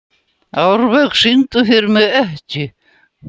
Árvök, syngdu fyrir mig „Ekki“.